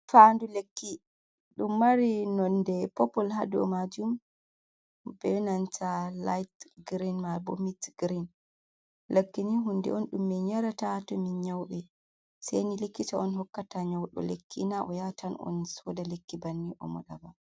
Fa ndu lekki ɗum mari nonde popol hado majum be nanta late grein ma bo mitt grein, lakkini hunde on ɗum min yarata to min nyauɓe, seni likkita on hokkata nyauɗo lekki na o yatan on soda lekki banni o mo ɗaba.